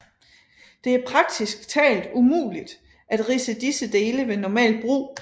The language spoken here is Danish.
Det er praktisk talt umuligt at ridse disse dele ved normalt brug